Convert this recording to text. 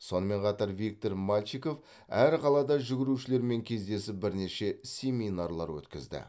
сонымен қатар виктор мальчиков әр қалада жүгірушілермен кездесіп бірнеше семинарлар өткізді